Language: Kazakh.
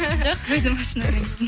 жоқ өзім машинамен келдім